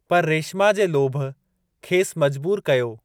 पर रेशिमा जे लोभ खेसि मजबूरु कयो।